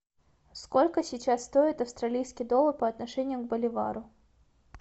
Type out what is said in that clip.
сколько сейчас стоит австралийский доллар по отношению к боливару